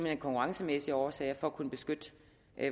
af konkurrencemæssige årsager for at kunne beskytte